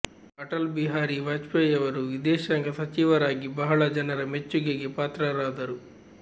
ಅಟಲ್ ಬಿಹಾರಿ ವಾಜಪೇಯಿಯವರು ವಿದೇಶಾಂಗ ಸಚಿವರಾಗಿ ಬಹಳ ಜನರ ಮೆಚ್ಚುಗೆಗೆ ಪಾತ್ರರಾದರು